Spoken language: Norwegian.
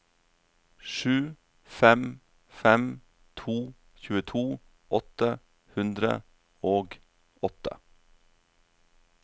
sju fem fem to tjueto åtte hundre og åtte